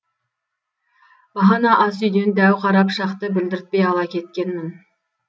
бағана ас үйден дәу қара пышақты білдіртпей ала кеткенмін